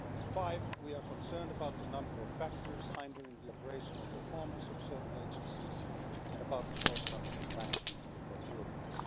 Five, we are concerned about the number of factors hindering the operational performance of certain agencies and about the shortcomings in the management of procurements.